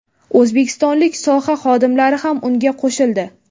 O‘zbekistonlik soha xodimlari ham unga qo‘shildi.